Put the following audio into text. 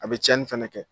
A bɛ tiɲɛni fɛnɛ kɛ